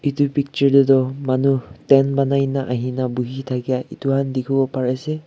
eto picture teh manu tent ponaina ahikina buihi takia etokan tekibo pari ase.